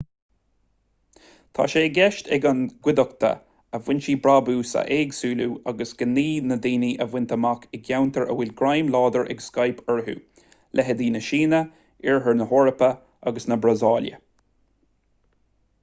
tá sé i gceist ag an gcuideachta a foinsí brabúis a éagsúlú agus gnaoi na ndaoine a bhaint amach i gceantair a bhfuil greim láidir ag skype orthu leithéidí na síne oirthear na heorpa agus na brasaíle